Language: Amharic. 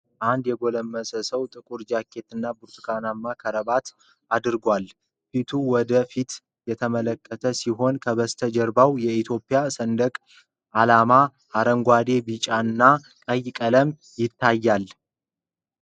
አንድ የጎለመሰ ሰው ጥቁር ጃኬትና ብርቱካናማ ክራባት አድርጓል። ፊቱ ወደ ፊት የተመለከተ ሲሆን፥ ከበስተጀርባው የኢትዮጵያ ሰንደቅ ዓላማ በአረንጓዴ፣ ቢጫና ቀይ ቀለም ይታያል።